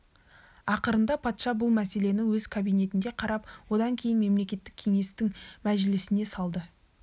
ақырында патша бұл мәселені өз кабинетінде қарап одан кейін мемлекеттік кеңестің мәжілісіне салды